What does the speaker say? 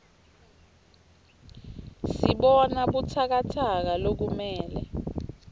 sibona butsakatsaka lokumele